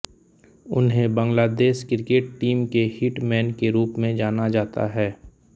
उन्हें Bangladesh cricket team के hit man के रूप में जाना जाता है